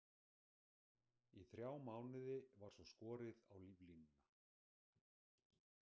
Í þrjá mánuði var svo skorið á líflínuna.